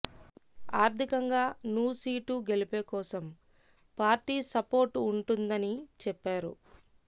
ఆర్ధికంగా నూ సీటు గెలుపె కోసం పార్టీ సపోర్టు ఉంటుందని చెప్పారు